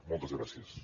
moltes gràcies